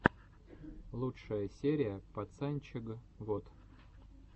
лучшая серия пацанчег вот